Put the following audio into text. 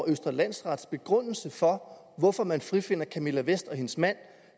af østre landsrets begrundelse for hvorfor man frifinder camilla vest og hendes mand